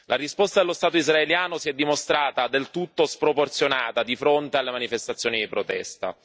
La risposta dello Stato israeliano si è dimostrata del tutto sproporzionata di fronte alle manifestazioni di protesta.